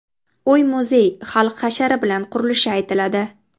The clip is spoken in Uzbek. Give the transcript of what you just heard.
Uy-muzey xalq hashari bilan qurilishi aytiladi.